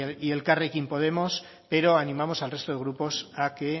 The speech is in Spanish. y elkarrekin podemos pero animamos al resto de grupos a que